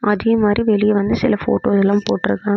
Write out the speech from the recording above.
அதே மாரி வெளியே வந்து சில போட்டோ எல்லாம் போட்டுருக்காங்க.